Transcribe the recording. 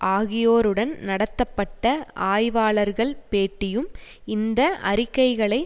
ஆகியோருடன் நடத்தப்பட்ட ஆய்வாளர்கள் பேட்டியும் இந்த அறிக்கைகளை